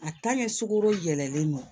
A sugoro yɛlɛlen don